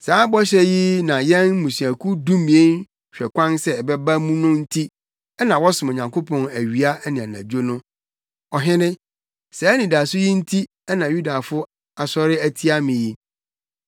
Saa bɔhyɛ yi na yɛn mmusuakuw dumien hwɛ kwan sɛ ɛbɛba mu no nti na wɔsom Onyankopɔn awia ne anadwo no. Ɔhene, saa anidaso yi nti na Yudafo asɔre atia me yi.